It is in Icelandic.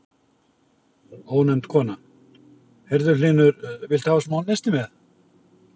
Ónefnd kona: Heyrðu Hlynur, viltu hafa smá nesti með?